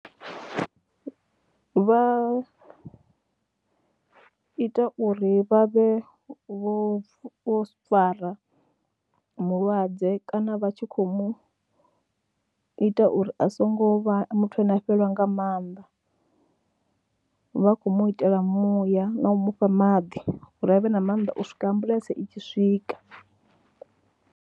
Vha ita uri vha vhe vho fara mulwadze kana vha tshi khou mu ita uri a songo vha muthu ane a fhelelwa nga maanḓa, vha khou mu itela muya na u mu fha maḓi uri a vhe na mannḓa u swika ambuḽentse i tshi swika.